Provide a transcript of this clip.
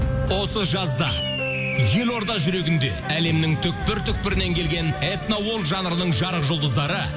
осы жазда елорда жүрегінде әлемнің түпкір түпкірінен келген этно жанрының жарық жұлдыздары